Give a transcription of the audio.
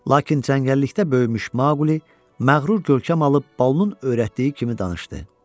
Lakin cəngəllikdə doğmuş Maqli məğrur gövkəm alıb Balunun öyrətdiyi kimi danışdı.